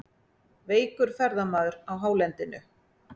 Veikur ferðamaður á hálendinu